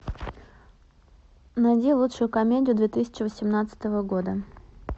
найди лучшую комедию две тысячи восемнадцатого года